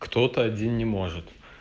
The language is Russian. кто-то один не может